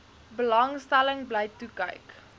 belangstelling bly toekyk